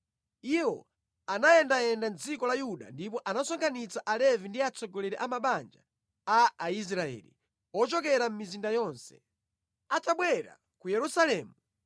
Iwo anayendayenda mʼdziko la Yuda ndipo anasonkhanitsa Alevi ndi atsogoleri a mabanja a Aisraeli ochokera mʼmizinda yonse. Atabwera ku Yerusalemu,